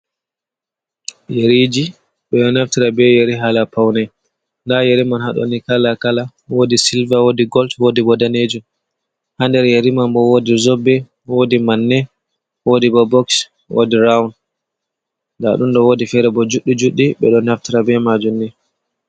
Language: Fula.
Yeriji ɓe ɗo naftira be yeri haala pawne, nda yeri man, haaɗo ni kalakala bo. Woodi silva ,wooi gol, woodi bo daneejum ha nder yeri man bo, woodi zoobe ,woodi manne, woodi bo boks, woodi rawun, nda ɗum ɗo woodi feere bo juuɗɗi juuɗɗu ɓe ɗo naftira be maajum ni.